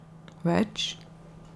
Več ...